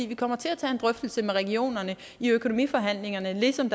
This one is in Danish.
vi kommer til at tage en drøftelse med regionerne i økonomiforhandlingerne ligesom